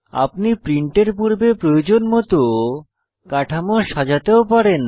আপনি প্রিন্টের পূর্বে প্রয়োজন মত কাঠামো সাজাতেও পারেন